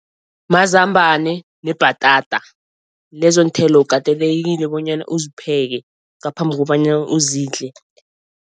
Mazambane nebhatata, lezonthelo ukatelekile bonyana uzipheke ngaphambi kobanyana uzidle.